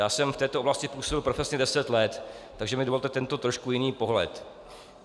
Já jsem v této oblasti působil profesně deset let, takže mi dovolte tento trošku jiný pohled.